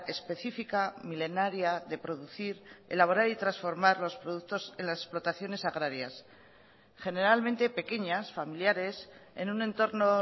específica milenaria de producir elaborar y transformar los productos en las explotaciones agrarias generalmente pequeñas familiares en un entorno